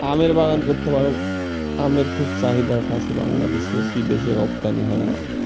আমের বাগান করতে পারো আমি খুব চাহিদা আছে বাংলাদেশে বিদেশের রপ্তানি হয় আম।